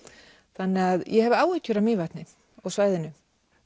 þannig að ég hef áhyggjur af Mývatni og svæðinu